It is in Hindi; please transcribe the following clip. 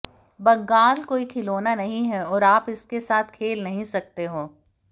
बंगाल कोई खिलौना नहीं है और आप इसके साथ खेल नहीं सकते हो